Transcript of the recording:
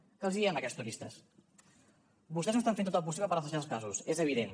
què els diem a aquests turistes vostès no estan fent tot el possible per rastrejar els casos és evident